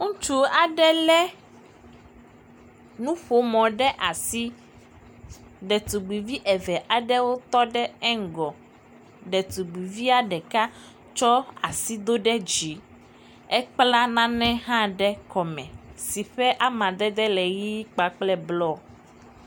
Ŋutsu aɖe lé nuƒomɔ ɖe asi. Detugbivi eve aɖewo tɔ ɖe eŋgɔ. Detubivia ɖeka sɔ asi do ɖe dzi ekpla nane hã ɖe kɔme si ƒe amadede le ʋi kpakple blɔ.